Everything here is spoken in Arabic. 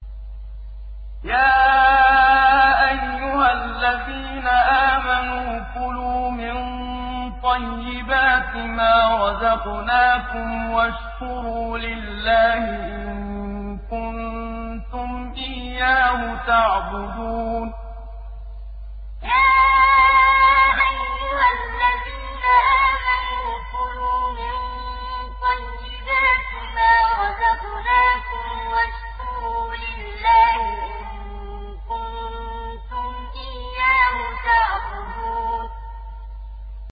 يَا أَيُّهَا الَّذِينَ آمَنُوا كُلُوا مِن طَيِّبَاتِ مَا رَزَقْنَاكُمْ وَاشْكُرُوا لِلَّهِ إِن كُنتُمْ إِيَّاهُ تَعْبُدُونَ يَا أَيُّهَا الَّذِينَ آمَنُوا كُلُوا مِن طَيِّبَاتِ مَا رَزَقْنَاكُمْ وَاشْكُرُوا لِلَّهِ إِن كُنتُمْ إِيَّاهُ تَعْبُدُونَ